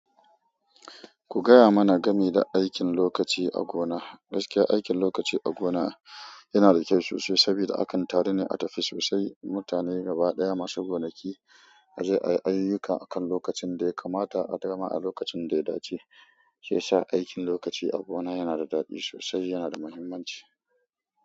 Ku gaya mana game da aikin lokaci a gona. Gaskiya aikin lokaci a gona yana da kyau sosai saboda akan taru ne a tafi sosai mutane gaba ɗaya masu gonaki. A je ayi ayuka akan lokacin da ya kamata a dama a lokacin da ya dace ke sa aikin lokaci a gona yana da daɗi sosai yana da muhimmanci.